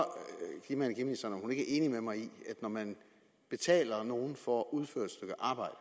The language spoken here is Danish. energiministeren om er enig med mig i at når man betaler nogle for at udføre et stykke arbejde